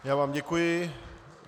Já vám děkuji.